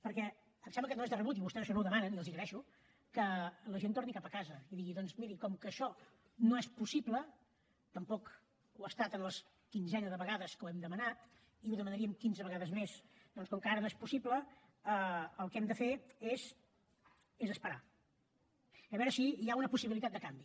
perquè em sembla que no és de rebut i vostès això no ho demanen i els ho agraeixo que la gent torni cap a casa i digui doncs miri com que això no és possible tampoc ho ha estat en la quinzena de vegades que ho hem demanat i ho demanaríem quinze vegades més el que hem de fer és esperar a veure si hi ha una possibilitat de canvi